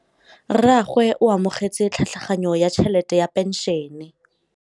Rragwe o amogetse tlhatlhaganyô ya tšhelête ya phenšene.